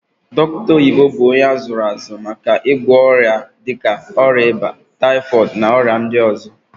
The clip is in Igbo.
Dokita oyibo bu onye azuru azu nke oma igwo oria dika oria iba, typhooid na oria ndi ozo.